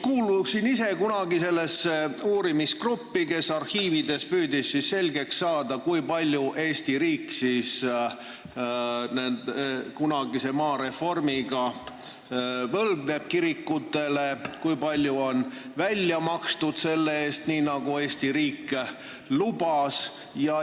Kuulusin ise kunagi sellesse uurimisgruppi, kes püüdis arhiivides selgeks saada, kui palju Eesti riik kunagise maareformi tõttu kirikutele võlgneb ja kui palju on raha välja makstud, nii nagu Eesti riik lubas.